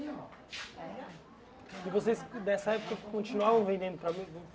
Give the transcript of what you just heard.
E vocês, dessa época, continuavam vendendo para?